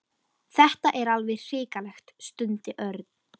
Þetta er alveg hrikalegt stundi Örn.